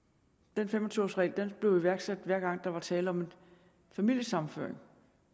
den fem og tyve års regel blev iværksat hver gang der var tale om en familiesammenføring